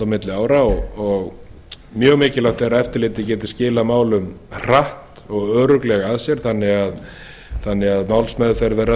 milli ára og mjög mikilvægt er að eftirlitið geti skilað málum hratt og örugglega af sér þannig að málsmeðferð verði